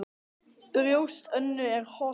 Brjóst Önnu er holt.